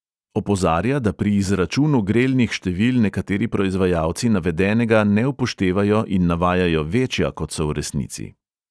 Opozarja, da pri izračunu grelnih števil nekateri proizvajalci navedenega ne upoštevajo in navajajo večja, kot so v resnici.